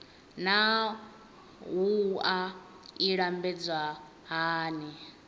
naa wua i lambedzwa hani